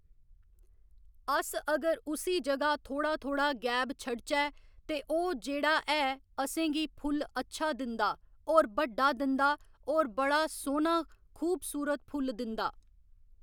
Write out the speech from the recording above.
अस अगर उसी जगह्‌ थोह्‌ड़ा थोह्‌ड़ा गैब छड्ढचै ते ओह् जेह्‌ड़ा ऐ असेंगी फुल्ल अच्छा दिंदा होर बड्डा दिंदा होर बड़ा सोह्‌ना खूबसूरत फुल्ल दिंदा